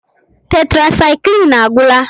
Tetrasaịklin agwụla.